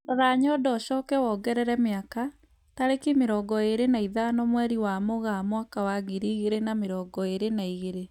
Rora nyondo ũcoke wongerere mĩaka, tarĩki mĩrongo ĩrĩ na ithano mweri wa Mũgaa mwaka wa ngĩri igĩrĩ na mĩrongo ĩrĩ na igĩrĩ